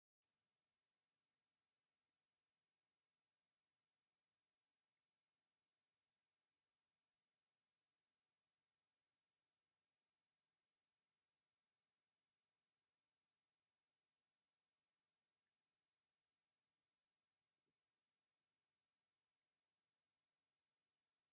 ኣብዚ ክልተ ዓይነት ወይኒ ይርአ። እቲ ብጸጋም ዘሎ ቀይሕ ወይኒ፣ ሕብሩ ረዚን ጸሊም ቀይሕ፤ እቲ ብየማን ዘሎ ጻዕዳ ወይኒ እዩ፣ ሕብሩ ፍሕሽው ወርቃዊ ብጫ እዩ። እዛ ስእሊ ናይ ሰላምን ምዝንጋዕን ስምዒት ትፈጥር።